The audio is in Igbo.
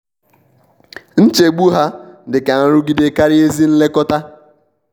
nchegbu ha dị ka nrụgide karịa ezi nlekọta.